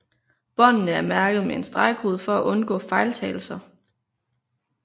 Båndene er mærket med en stregkode for at undgå fejltagelser